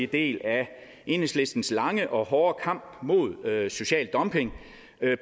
del af enhedslistens lange og hårde kamp mod social dumping